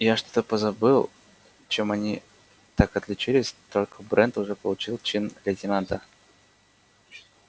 я что-то позабыл чем они так отличились только брент уже получил чин лейтенанта